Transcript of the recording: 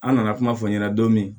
An nana kuma fɔ ɲɛna don min